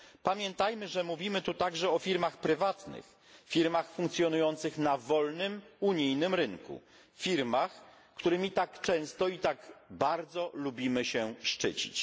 Pamiętajmy, że mówimy tu także o firmach prywatnych, firmach funkcjonujących na wolnym unijnym rynku, firmach, którymi tak często i tak bardzo lubimy się szczycić.